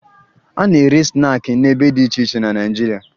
A na-ere snaakị n'ebe dị iche iche na Naịjirịa